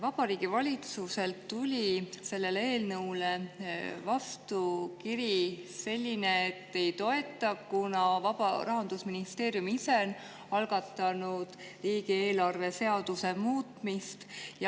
Vabariigi Valitsuselt tuli eelnõu kohta kiri, et ei toeta, kuna Rahandusministeerium ise on algatanud riigieelarve seaduse muutmise.